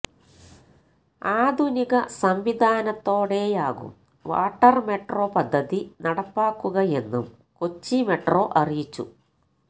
ആധുനിക സംവിധാനത്തോടെയാകും water metro പദ്ധതി നടപ്പാക്കുകയെന്നും കൊച്ചി മെട്രോ അറിയിച്ചു